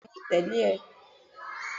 beeni mo tele e